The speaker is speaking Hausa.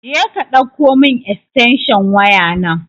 Jeka ɗauko mun estensho waya nan